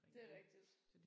Det er rigtigt